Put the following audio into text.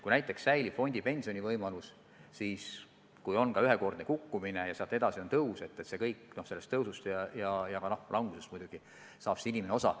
Kui säilib fondipensionivõimalus, siis kui on ühekordne kukkumine ja sealt edasi on tõus, siis sellest tõusust ja ka langusest muidugi saab inimene osa.